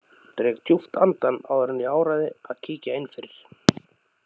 Dreg djúpt andann áður en ég áræði að kíkja inn fyrir.